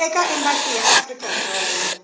eka embasi ya afrika dzonga